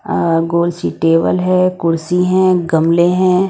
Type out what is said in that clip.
अ गोल सी टेबल है कुर्सी हैं गमले हैं।